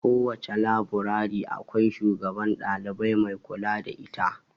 Kowace laburare akwai shugaban dalibai mai kula da ita.